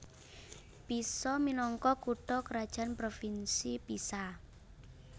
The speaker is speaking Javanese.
Pisa minangka kutha krajan Provinsi Pisa